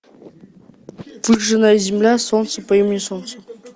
выжженная земля солнце по имени солнце